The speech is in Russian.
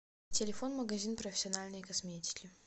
телефон магазин профессиональной косметики